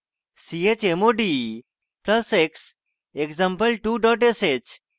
chmod plus x example2 dot sh